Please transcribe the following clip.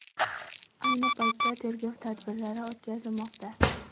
Ayni paytda tergov tadbirlari o‘tkazilmoqda.